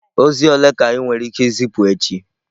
Ozi ole ka ị nwere ike izipu echi?